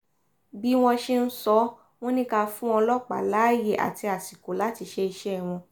bí wọ́n ṣe ń sọ wọ́n ni ká fún ọlọ́pàá láàyè àti àsìkò láti ṣe iṣẹ́ wọn